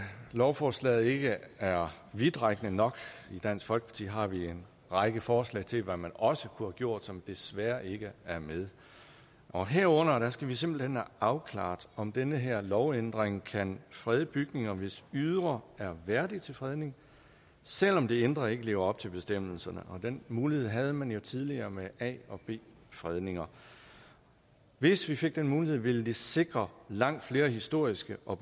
lovforslaget ikke er vidtrækkende nok i dansk folkeparti har vi en række forslag til hvad man også kunne have gjort som desværre ikke er med og herunder skal vi simpelt hen have afklaret om den her lovændring kan frede bygninger hvis ydre er værdigt til fredning selv om det indre ikke lever op til bestemmelserne den mulighed havde man jo tidligere med a og b fredninger hvis vi fik den mulighed ville det sikre langt flere historiske og